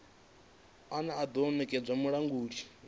une wa do nekedzwa mulanguli